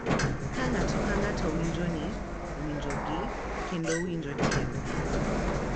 Ka ng’ato ka ng’ato winjo ni winjogi kendo winjo tiendgi,